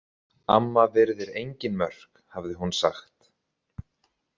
Amma virðir engin mörk, hafði hún sagt.